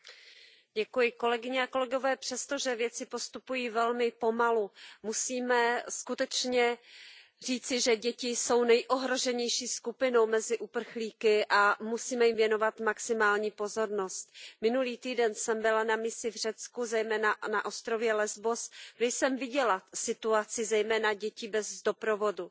Pane předsedající, kolegyně a kolegové, přesto, že věci postupují velmi pomalu, musíme skutečně říci, že děti jsou nejohroženější skupinou mezi uprchlíky a musíme jim věnovat maximální pozornost. Minulý týden jsem byla na misi v Řecku, zejména na ostrově Lesbos, kde jsem viděla situaci zejména dětí bez doprovodu.